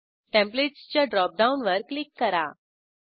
टेंप्लेटसच्या drop डाऊनवर click करा